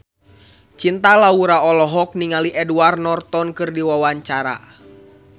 Cinta Laura olohok ningali Edward Norton keur diwawancara